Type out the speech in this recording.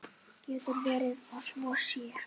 Getur verið að svo sé?